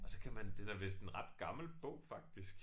Og så kan man det der med sådan ret gammel bog faktisk